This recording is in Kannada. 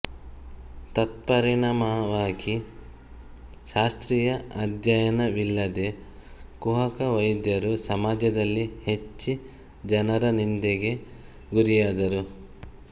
ತತ್ಪರಿಣಾಮವಾಗಿ ಶಾಸ್ತ್ರೀಯ ಅಧ್ಯಯನವಿಲ್ಲದೆ ಕುಹಕವೈದ್ಯರು ಸಮಾಜದಲ್ಲಿ ಹೆಚ್ಚಿ ಜನರ ನಿಂದೆಗೆ ಗುರಿಯಾದರು